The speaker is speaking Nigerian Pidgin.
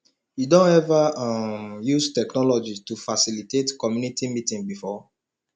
you don ever um use technology to facilitate community meeting before